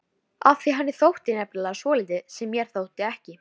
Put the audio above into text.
Af því henni þótti nefnilega svolítið sem mér þótti ekki.